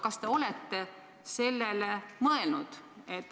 Kas te olete sellele mõelnud?